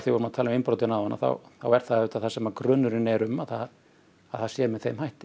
vorum að tala um innbrotin áðan þá er það það sem grunurinn er um að það að það sé með þeim hætti